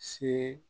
Se